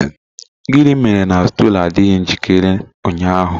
Gịnị mere na stool adịghị njikere ụnyaahụ?